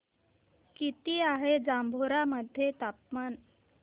किती आहे जांभोरा मध्ये तापमान